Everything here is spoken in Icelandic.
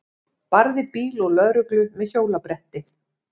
Barði bíl og lögreglu með hjólabretti